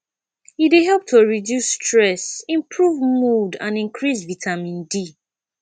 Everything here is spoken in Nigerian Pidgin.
e dey help to reduce stress improve mood and increase vitamin d